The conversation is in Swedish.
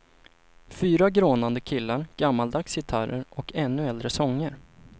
Fyra grånande killar, gammaldags gitarrer och ännu äldre sånger.